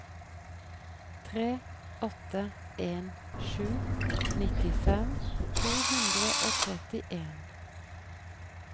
tre åtte en sju nittifem to hundre og trettien